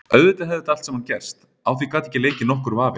Auðvitað hefði þetta allt saman gerst, á því gat ekki leikið nokkur vafi.